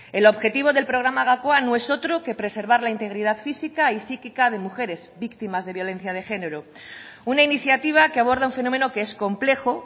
el objetivo del programa gakoa no es otro que preservar la integridad física y psíquica de mujeres víctimas de violencia de género una iniciativa que aborda un fenómeno que es complejo